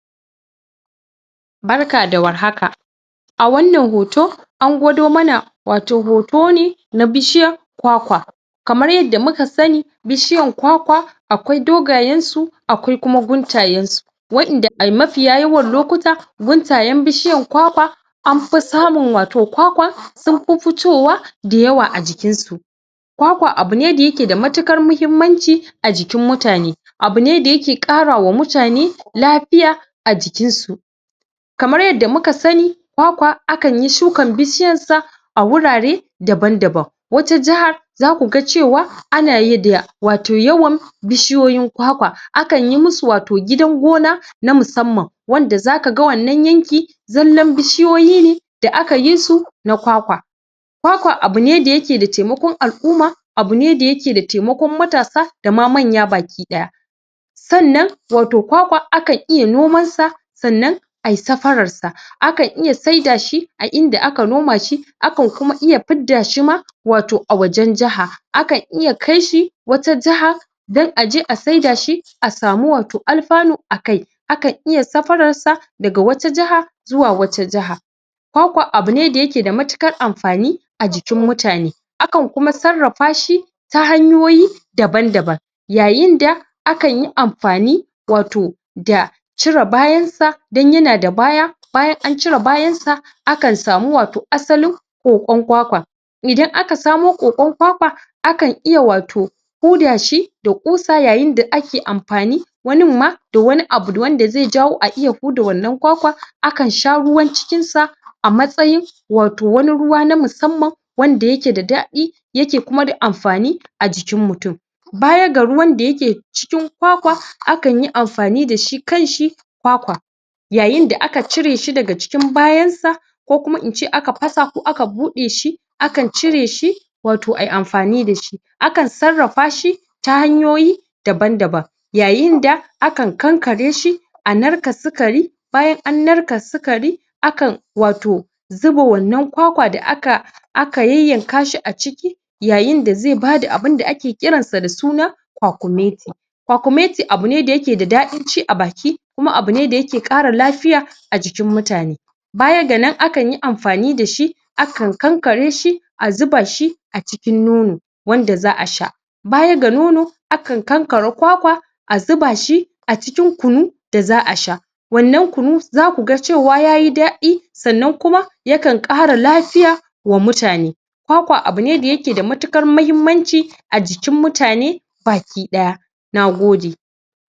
Barka da warhaka a wannan hoto a gwado wato hoto ne na bishiyan kwakwa kamar yanda muka sani bishiyan kwakwa akwai dogayensu akwai kuma guntayensu wa'inda a mafiya yawan lokuta guntayen bishiyan kwakwa an fi samun wato kwakwan sun fi fitowa da yawa a jikinsu kwakwa abu ne da yake da matuƙar mahimmanci a jikin mutane abu ne da yake ƙara wa mutane lafiya a jikinsu kamar yanda muka sani kwakwa akanyi shukan bishiyansa a wurare daban-daban wata jahar za ku ga cewa anayi da wato yawan bishiyoyin kwakwa akanyi musu wato gidan gona na musamman wanda za ka ga wannan yanki wannan bishiyoyi ne da aka yi su na kwakwa kwakwa abune da yake da taimakon al'uma abu ne da yake da taimakon matasa da ma manya baki-ɗaya sannan wato kwakwa akan iya nomansa sannan a yi safararsa akan iya saida shi a inda aka noma shi akan kuma iya fidda shi ma wato a wajen jaha akan iya kaisu wata jaha dan a je a saidashi a samu wato alfanu akai kan iya safararsa daga wata jaha zuwa wata jaha kwakwa abu ne da yake da matuƙar amfani a jikin mutane kan kuma sarrafa shi ta hanyoyi daban-daban yayinda akan yi amfani wato da cire bayansa dan yana da baya bayan an cire bayansa akan samu wato asalin ƙoƙon kwakwan idan aka samo ƙoƙon kwakwa akan iya wato hudashi da ƙusa yayinda ake amfani wanin ma da wani abu da wanda zai jawo a iya huda wannan kwakwan akan sha ruwan cikinsa a matsayin wato wani ruwa na musamman wanda yake da daɗi yake kuma da amfani a jikin mutum baya ga ruwan da yake cikin kwakwa akanyi amfani da shi kanshi kwakwa yayinda akan cireshi daga jikin bayansa ko kuma in ce aka fasa ko aka buɗeshi akan cireshi wato a yi amfani da shi akan sarrafa shi ta hanyoyi daban-daban yayinda akan kankareshi a narka sikari bayan an narka sikari akan wato zuba wannan kwakwa da aka aka yayyankashi a ciki yayinda zai bada abinda ake ƙiransa da suna kwakumeti kwakumeti abu ne da yake da daɗin ci a baki kum abu ne da yake ƙara lafiya a jikin muatane baya ga nan akan yi amfani da shi akan kankareshi a zuba shi a cikin nono wanda za a sha baya ga nono akan kankare kwakwa a zuba shi a cikin kunu da za a sha wannan kunu za ku ga cewa ya yi daɗi sannan kuma yakan ƙara lafiya wa mutane kwakwa abu ne da yake da matuƙar mahimmanci a jikin mutane baki-ɗaya na gode